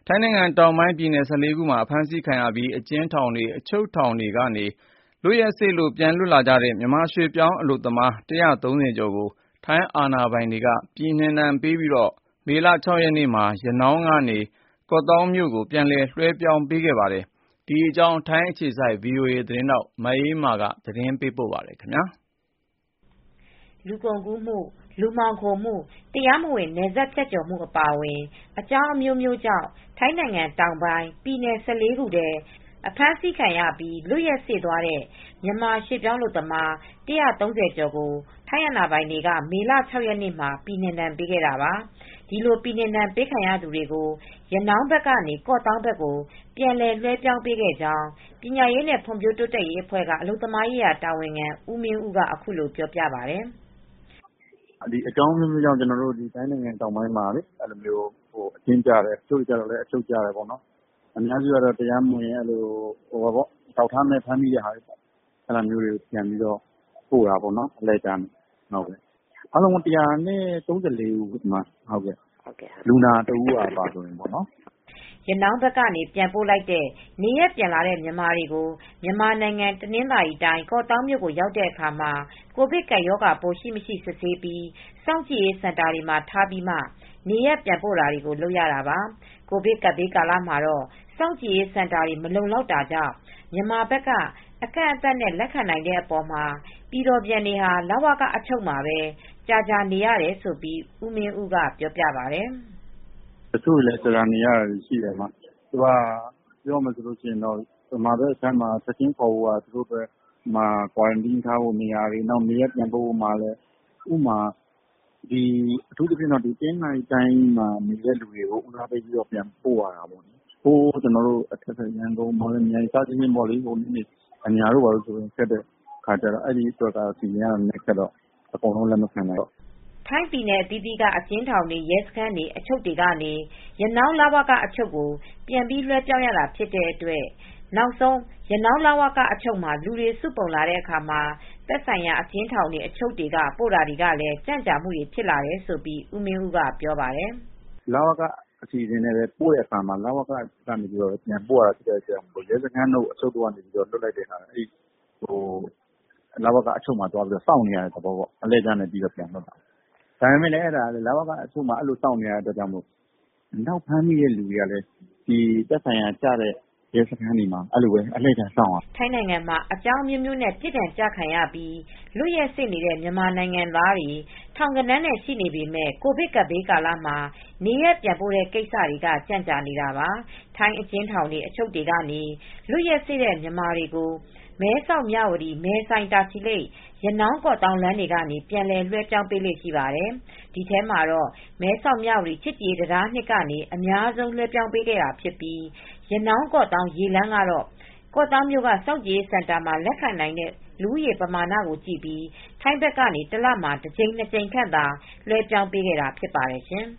ထိုင်းနိုင်ငံတောင်းပိုင်းပြည်နယ် ၁၄ ခုအတွင်းမှာ အဖမ်းဆီးခံရပြီး အကျဉ်းထောင်တွေ အချုပ်တွေကနေ လွက်ရက်စေ့သွားတဲ့ မြန်မာရွှေပြောင်းအလုပ်သမား ၁၃၀ကျော်ကို ထိုင်းအာဏာပိုင်တွေက ပြည်နှင်ဒဏ်ပေးပြီး မေလ ၆ရက်နေ့မှာ ရနောင်းကနေ ကော့သောင်းမြို့ကို ပြန်လည် လွှဲပြောင်းပေးခဲ့ပါတယ်။ ဒီသတင်းကို ဗွီအိုအေ သတင်းထောက် မအေးအေးမာက သတင်းပေးပို့ ထားပါတယ်။ လူကုန်ကူးမှု လူမှောင်ခိုမူ့တရားမဝင် နယ်စပ်ဖြတ်ကျော်မှု အပါအဝင် အကြောင်းအမျိုးမျိုးကြောင့် ထိုင်းနိုင်ငံတောင်းပိုင်း ပြည်နယ် ၁၄ ခုထဲ အဖမ်းဆီးခံရပြီး လွက်ရက်စေ့သွားတဲ့ မြန်မာရွှေပြောင်းအလုပ်သမား ၁၃၀ကျော်ကို ထိုင်းအာဏာပိုင်တွေက မေလ ၆ရက်နေ့မှာ ပြည်နှင်ဒဏ်ပေးခဲ့တာပါ။ဒီလို ပြည်နှင်ဒဏ်ပေးခံရသူတွေကို ရနောင်းဘက်ကနေ ကော့သောင်းဘက်ကို ပြန်လည်လွဲှပြောင်းပေးခဲ့ကြောင်း ပညာရေးနဲ့ ဖွံဖြိုးတိုးတက်ရေးအဖွဲ့က အလုပ်သမားရေး တာဝန်ခံ ဦးမင်းဦးကအခုလိုပြောပါတယ် " အကြောင်းအမျိုးမျိုးကြောင့် ထိုင်းနိုင်ငံတောင်ပိုင်းမှာ အချုပ်ကျတဲ့ အများစုကတော့ တရားမဝင် အထောက်အထားမဲ့ ဖမ်းဆီးခံရသူတွေကို အလှည့်ကျနဲ့ ပြန်ပို့တာပေါ့နော်။ အားလုံးပေါင်း ၁၃၄ဦးပါလူနာတဦးပါအပါဝင်ပေါ့နော် " ရနောင်းဘက်ကနေ ပြန်ပို့လိုက်တဲ့ နေရပ်ပြန်လာတဲ့ မြန်မာတွေကို မြန်မာနိုင်ငံ တနင်္သာရီတိုင်း ကော့သောင်းမြို့ရောက်တဲ့အခါမှာ ကိုဗစ်ကပ်ရောဂါပိုး ရှိမရှိ စစ်ဆေးပြီး စောင့်ကြည့်ရေးစင်တာတွေမှာ ထားပြီးမှ နေရပ်ပြန်ပို့တာတွေ လုပ်ရတာပါ။ ကိုဗစ်ကပ်ဘေးကာလမှာတော့ စောင့်ကြည့်ရေးစင်တာတွေ မလုံလောက်တာကြောင့် မြန်မာဘက်က အကန့်အသတ်နဲ့သာ လက်ခံနိုင်တဲ့အပေါ်မှာ ပြည်တော်ပြန်တွေဟာ လဝကအချုပ်မှာပဲ ကြာကြာနေရတယ်လို့ ဦးမင်းဦးကပြောပါတယ်။ "တချို့လည်းကြာကြာနေနေရတယ်။ မြန်မာဘက်မှာထားဖို့ကလည်း ချက်ချင်းခေါ်ဖို့က တချို့လည်းကွာရမ်တင်း ထားဖို့ကလိုတယ် ။ အထူးသဖြင့် တနင်္သာရီတိုင်းကလူတွေကို ဦးစားပေးပြီးပြန်ပို့ရတယ် ရန်ကုန် မော်လမြိုင်တို့အညာတို့ဘက်ကလူတွေကိုတော့အကုန်လုံးလက်မခံနိုင်ဘူး) ထိုင်းပြည်နယ်အသီးသီးက အကျဉ်းထောင်တွေ ရဲစခန်းတွေ အချုပ်တွေကနေ ရနောင်းလဝက အချုပ်ကိုပြန်ပြီး လွဲှပြောင်းရတာဖြစ်တဲ့အတွက် နောက်ဆုံးရနောင်း လဝက အချုပ်မှာ လူတွေ စုပုံလာတဲ့အခါ သက်ဆိုင်ရာ အကျဉ်းထောင်တွေ အချုပ်တွေက ပို့တာတွေကလည်း ကြံကြာမူ့တွေ ဖြစ်လာတယ်လို့ ဦးမင်းဦးကဆိုပါတယ်။ " လဝက အစီစဉ်ကနေပို့တဲ့အခါ လဝကအချုပ်ကနေ ပြန်ပို့ရတာရှိတယ်။ ရဲစခန်းတို့ အချုပ်တို့ ကလည်း လဝကကိုပို့ရတယ်။ လဝကမှာက ထပ်ပြီးစောင့်နေရတဲ့အတွက် ဖမ်းမိတဲ့သူတွေကလည်းသက်ဆိုင်ရာ ရဲစခန်းတွေမှ ာအဲဒီလိုပဲစောင့်နေရတယ်။ ထိုင်းနိုင်ငံမှာ အကြောင်းအမျိုးမျိုးနဲ့ ပြစ်ဒဏ်ကျခံရပြီး လွတ်ရက်စေ့နေတဲ့ မြန်မာနိုင်ငံသားတွေ ထောင်ဂဏန်းနဲ့ရှိနေပေမယ့် ကိုဗစ်ကပ်ဘေးကာလမှာ နေရပ်ပြန်ပို့တဲ့ကိစ္စတွေကကြန့်ကြာနေတာပါ။ ထိုင်းအကျဉ်းထောင်တွေ၊ အချုပ်တွေက လွတ်ရက်စေ့တဲ့ မြန်မာတွေကို မဲဆောက်၊ မြဝတီ၊ မဲဆိုင်၊ တာချီလိတ်၊ ရနောင်း၊ ကော့သောင်းလမ်းတွေကနေ ပြန်လည် လွဲှပြောင်းပေးလေ့ရှိပါတယ်။ ဒီထဲမှာတော့ မဲဆောက် မြဝတီ ချစ်ကြည်တံတား အမှတ် ကနေ အများဆုံးလွဲှပြောင်းပေးတာဖြစ်ပြီး ရနောင်း ကေ့ာသောင်း ရေလမ်းကတော့ ကော့သောင်းမြို့က စောင့်ကြည်ရေးစင်တာမှာ လက်ခံနိုင်တဲ့လူဦးရေ ပမာဏကိုကြည့်ပြီး ထိုင်းဖက်ကနေ တလမှာ တကြိမ်နှစ်ကြိမ်ခန့် သာလွဲှပြောင်းပေးခဲ့တာ ဖြစ်ပါတယ်ရှင်